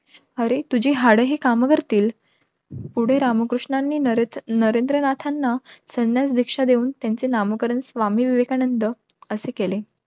अरे तुझी हाडं हि हे काम करतील. पुढे रामकृष्णांनी नरेंद्र नाथांना संन्यास भिक्षा देऊन त्यांचे नामकरण स्वामी विवेकानंद असे केले.